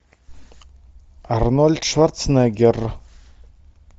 арнольд шварценеггер